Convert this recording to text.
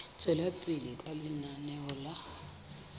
tswela pele ka lenaneo la